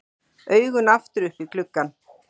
Augun aftur upp í gluggann.